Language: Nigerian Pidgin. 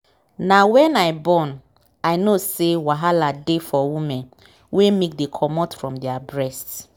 na wen i born i know say wahala dey for women wen milk dey comot from their breast